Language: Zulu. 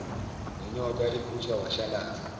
nonyoka ivuthwa washalaza